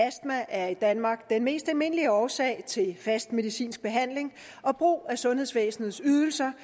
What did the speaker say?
astma er i danmark den mest almindelige årsag til fast medicinsk behandling og brug af sundhedsvæsenets ydelser